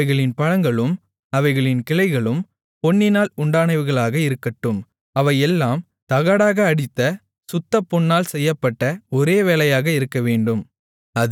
அவைகளின் பழங்களும் அவைகளின் கிளைகளும் பொன்னினால் உண்டானவைகளாக இருக்கட்டும் அவையெல்லாம் தகடாக அடித்த சுத்தப்பொன்னால் செய்யப்பட்ட ஒரே வேலையாக இருக்கவேண்டும்